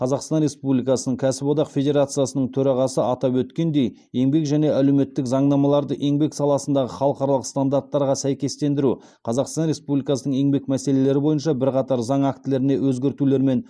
қазақстан республикасының кәсіподақ федерациясының төрағасы атап өткендей еңбек және әлеуметтік заңнамаларды еңбек саласындағы халықаралық стандарттарға сәйкестендіру қазақстан республикасының еңбек мәселелері бойынша бірқатар заң актілеріне өзгертулер мен